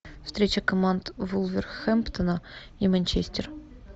встреча команд вулверхэмптона и манчестер